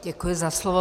Děkuji za slovo.